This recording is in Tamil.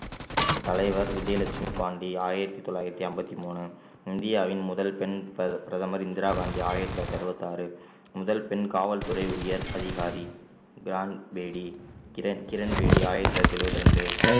தலைவர் விஜயலட்சுமி பாண்டி ஆயிரத்தி தொள்ளாயிரத்தி ஐம்பத்தி மூணு இந்தியாவின் முதல் பெண் பிர~ பிரதமர் இந்திரா காந்தி ஆயிரத்தி தொள்ளாயிரத்தி அறுபத்தி ஆறு முதல் பெண் காவல்துறை உயர் அதிகாரி கிரான்பேடி கிரண்~ கிரண்பேடி ஆயிரத்தி தொள்ளாயிரத்தி எழுபத்தி இரண்டு